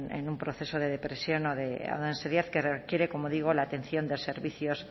en un proceso de depresión o de ansiedad que requiere como digo la atención de servicios